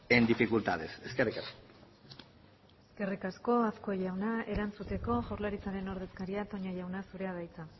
en dificultades eskerrik asko eskerrik asko azkue jauna erantzuteko jaurlaritzaren ordezkaria toña jauna zurea da hitza